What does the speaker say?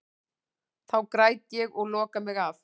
Þá græt ég og loka mig af.